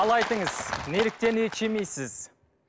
ал айтыңыз неліктен ет жемейсіз